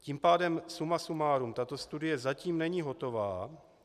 Tím pádem, suma sumárum, tato studie zatím není hotová.